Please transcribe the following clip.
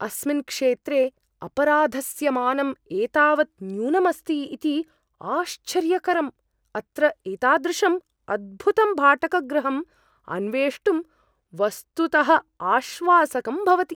अस्मिन् क्षेत्रे अपराधस्य मानम् एतावत् न्यूनम् अस्ति इति आश्चर्यकरम्! अत्र एतादृशम् अद्भुतं भाटकगृहम् अन्वेष्टुं वस्तुतः आश्वासकं भवति।